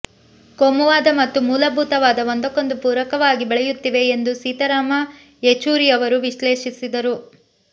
ಕೋಮುವಾದ ಮತ್ತು ಮೂಲಭೂತವಾದ ಒಂದಕ್ಕೊಂದು ಪೂರಕವಾಗಿ ಬೆಳೆಯುತ್ತಿವೆ ಎಂದು ಸೀತಾರಾಮ ಯೆಚೂರಿಯವರು ವಿಶ್ಲೇಷಿಸಿದರು